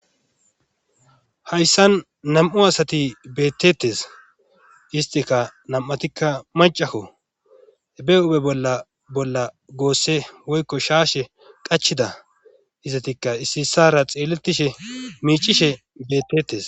hayssan nam7u asati bettetes istika nam7atikka macakko be ube bolla bolla goosse woykko shaashe qachida izatikka ississara xeelettishe miicishe bettetes